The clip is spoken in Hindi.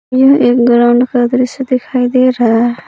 यह एक ग्राउंड का दृश्य दिखाई दे रहा है।